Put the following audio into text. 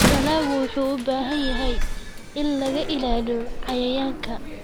Dalaggu wuxuu u baahan yahay in laga ilaaliyo cayayaanka.